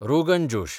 rogan josh